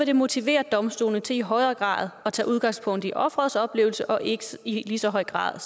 det motivere domstolene til i højere grad at tage udgangspunkt i offerets oplevelse og ikke i lige så høj grad